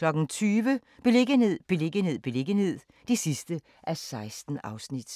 20:00: Beliggenhed, beliggenhed, beliggenhed (16:16)